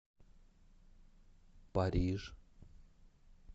париж